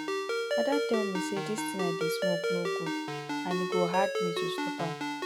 ada tell me say dis thing i dey smoke no good and e go hard me to stop am